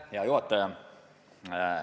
Hea juhataja!